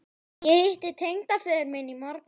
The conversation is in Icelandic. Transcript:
Ég hitti tengdaföður minn í morgun